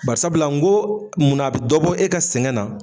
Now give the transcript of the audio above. Bari sabula n ko munna a be dɔ bɔ e ka sɛgɛn na?